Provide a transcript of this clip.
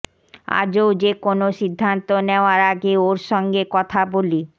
আজও যে কোনও সিদ্ধান্ত নেওয়ার আগে ওঁর সঙ্গে কথা বলি